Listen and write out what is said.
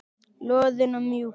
Loðinn og mjúkur.